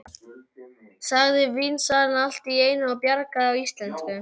sagði vínsalinn allt í einu á bjagaðri íslensku.